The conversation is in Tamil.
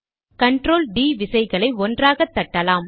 கண்ட்ரோல் டிd விசைகளை ஒன்றாக தட்டலாம்